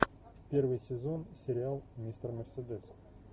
первый сезон сериал мистер мерседес